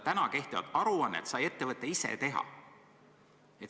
Praegu nõutava aruande saab ettevõte ise teha.